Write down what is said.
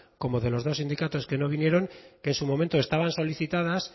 como de los dos sindicatos que no vinieron que en su momento estaban solicitadas